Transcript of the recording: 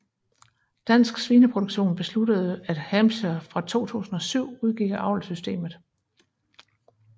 Dansk Svineproduktion besluttede at Hampshire fra 2007 udgik af avlssystemet